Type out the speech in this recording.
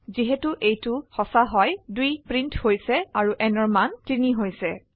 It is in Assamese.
যিহেতু এইটো ট্ৰু হয় 2 প্ৰিন্ট হইছে আৰু nঅৰ মান 3 হইছে